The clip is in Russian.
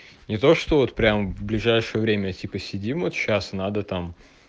не то что вот прямо в ближайшее время типа сидим вот сейчас надо там